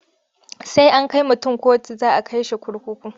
Sai an kai mutun kotu za a kai shi kurkuku.